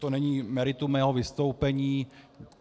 To není meritum mého vystoupení.